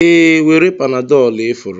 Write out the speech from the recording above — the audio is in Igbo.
Ee, were panadol ifuru